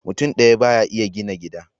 Mutum ɗaya ba ya iya gina gida.